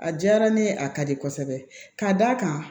A diyara ne ye a ka di kosɛbɛ ka da kan